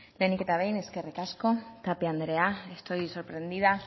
lehenik eta behin eskerrik asko tapia andrea estoy sorprendida